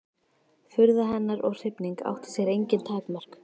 Furða hennar og hrifning átti sér engin takmörk.